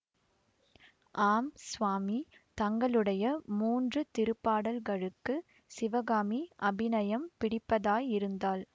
ஆம் சுவாமி தங்களுடைய மூன்று திருப்பாடல்களுக்குச் சிவகாமி அபிநயம் பிடிப்பதாயிருந்தாள்